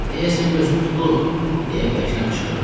Deyəsən gözüm tutulub, deyə bərkdən qışqırdım.